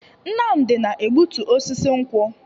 Nnamdi na-egbutu osisi nkwu.